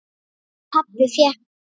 Pabbi fékk níu líf.